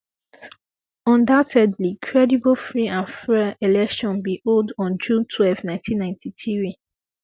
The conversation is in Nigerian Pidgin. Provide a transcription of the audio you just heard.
undoubtedly credible free and fair um elections bin hold on um june twelve 1993